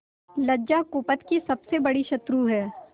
लज्जा कुपथ की सबसे बड़ी शत्रु है